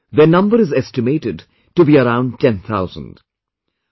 Roughly, their number is estimated to be around ten thousand